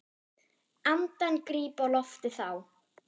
Andann gríp á lofti þá.